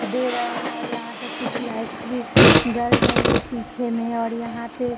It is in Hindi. दे रहे हैं और यहाँ पे कुछ लाइटस भी जल रही है पीछे में और यहाँ पे --